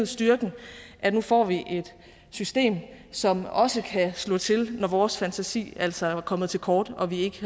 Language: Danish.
styrken at nu får vi et system som også kan slå til når vores fantasi altså er kommet til kort og vi ikke